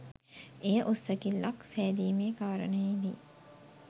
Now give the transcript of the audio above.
එය උස් සැකිල්ලක් සෑදීමේ කාරණයේ දී